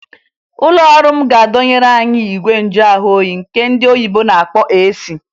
Ụlọọrụ m ga-adọnyeru anyị igwe njuahụoyi nke ndị oyibo na-akpọ AC